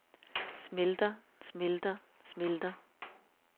smelter smelter smelter